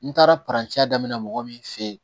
N taara daminɛ mɔgɔ min fɛ yen